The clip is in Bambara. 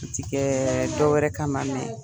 O ti kɛ dɔ wɛrɛ ka ma